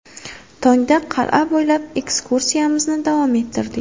Tongda qal’a bo‘ylab ekskursiyamizni davom ettirdik.